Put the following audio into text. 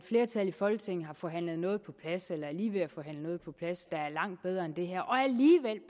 flertal i folketinget har forhandlet noget på plads eller er lige ved at forhandle noget på plads der er langt bedre end det her